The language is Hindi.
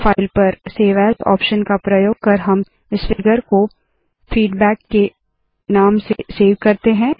फाइल पर सेव एएस आप्शन का प्रयोग कर हम इस फिगर को फीडबैक के नाम से सेव करते है